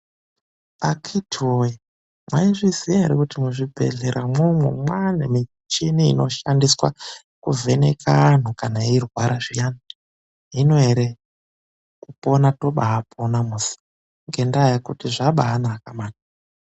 Akiti woye maizviziva hre kuti muzvibhedhlera imwomwo mwane michini inoshandiswa kuvheneka antu kana eirwara zviyan,i hino ere kupona toba pona ngenda yekuti zvabanaka mani .